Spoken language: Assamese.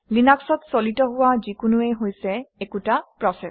লিনাক্সত চালিত হোৱা যিকোনোৱেই হৈছে একোটা প্ৰচেচ